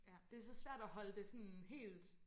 Det så svært at holde det sådan helt